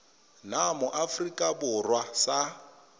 nna mo aforika borwa sa